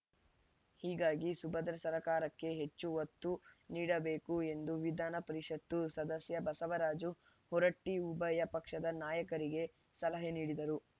ಹೀಗಾಗಿ ಸುಭದ್ರ ಸರ್ಕಾರಕ್ಕೆ ಹೆಚ್ಚು ಒತ್ತು ನೀಡಬೇಕು ಎಂದು ವಿಧಾನ ಪರಿಷತು ಸದಸ್ಯ ಬಸವರಾಜ ಹೊರಟ್ಟಿಉಭಯ ಪಕ್ಷದ ನಾಯಕರಿಗೆ ಸಲಹೆ ನೀಡಿದರು